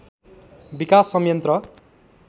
विकास संयन्त्र